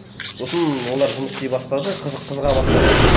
сосын олар жұмыс істей бастады қызыға бастады